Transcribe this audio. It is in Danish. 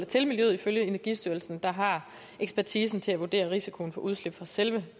til miljøet ifølge energistyrelsen der har ekspertisen til at vurdere risikoen for udslip fra selve